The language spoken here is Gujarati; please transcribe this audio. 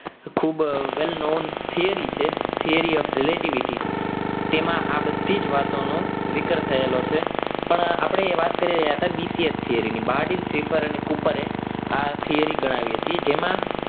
ખૂબ વેલ નોન તૈયારી છે theory of relativity તેમાં આ બધી જ વાતોનો જીગર થયેલો છે પણ આપણે એ વાત કરી રહ્યા હતા bcx theory ની prefer અને કૂપરે આ theory ગણાવી હતી જેમાં